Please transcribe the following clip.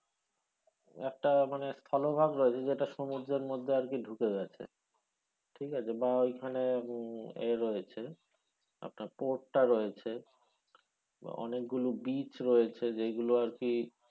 একটা মানে স্থলভাগ রয়েছে যেটা আরকি সমুদ্রের মধ্যে ঢুকে গেছে ঠিক আছে? বা ওইখানে উম এ রয়েছে আপনার port টা রয়েছে বা অনেকগুলো beach রয়েছে যেগুলো আরকি,